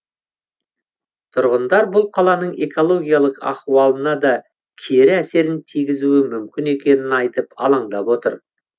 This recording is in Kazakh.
тұрғындар бұл қаланың экологиялық ахуалына да кері әсерін тигізуі мүмкін екенін айтып алаңдап отыр